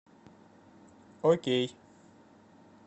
окей